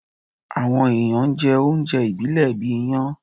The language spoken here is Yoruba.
Awọn èèyàn n jẹ oúnjẹ ìbílẹ̀ bíi iyán.